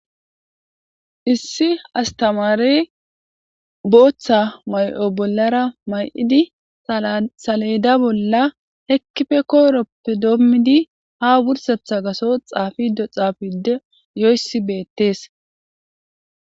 issi astamaarey booththa ma'o bollara ma'idi salayda bolla hekkife kooroppe doommidi ha wursetha gaso xaafido xaafide yoyssi beettees